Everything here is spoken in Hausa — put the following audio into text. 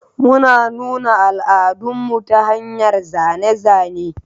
Muna nuna al'adunmu ta hanyar zane-zane.